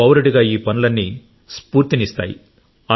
పౌరుడిగా ఈ పనులన్నీ స్ఫూర్తినిస్తాయి